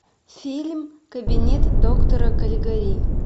фильм кабинет доктора калигари